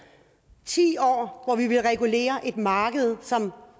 ti år hvor vi har villet regulere et marked som